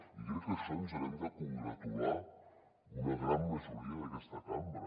i crec que d’això ens n’hem de congratular una gran majoria d’aquesta cambra